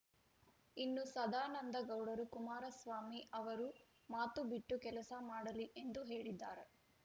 ಇನ್ನು ಸದಾನಂದಗೌಡರು ಕುಮಾರಸ್ವಾಮಿ ಅವರು ಮಾತು ಬಿಟ್ಟು ಕೆಲಸ ಮಾಡಲಿ ಎಂದು ಹೇಳಿದ್ದಾರೆ